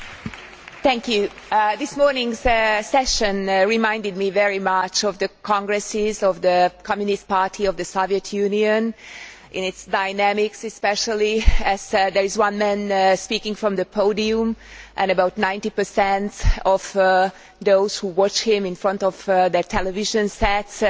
Mr President, this morning's session reminded me very much of the congresses of the Communist Party of the Soviet Union in its dynamics, especially as there is one man speaking from the podium and about 90 of those who watch him in front of their television sets